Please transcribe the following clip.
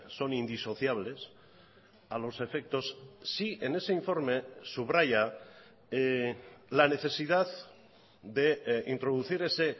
son indisociables a los efectos sí en ese informe subraya la necesidad de introducir ese